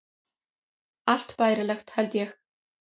Allt bærilegt, held ég.